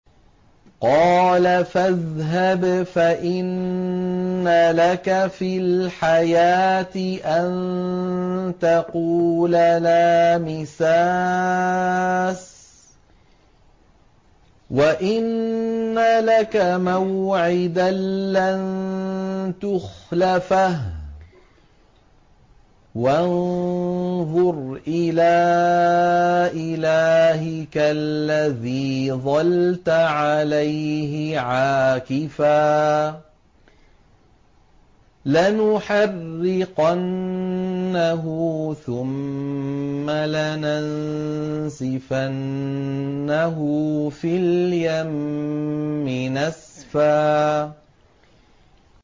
قَالَ فَاذْهَبْ فَإِنَّ لَكَ فِي الْحَيَاةِ أَن تَقُولَ لَا مِسَاسَ ۖ وَإِنَّ لَكَ مَوْعِدًا لَّن تُخْلَفَهُ ۖ وَانظُرْ إِلَىٰ إِلَٰهِكَ الَّذِي ظَلْتَ عَلَيْهِ عَاكِفًا ۖ لَّنُحَرِّقَنَّهُ ثُمَّ لَنَنسِفَنَّهُ فِي الْيَمِّ نَسْفًا